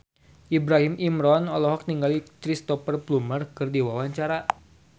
Ibrahim Imran olohok ningali Cristhoper Plumer keur diwawancara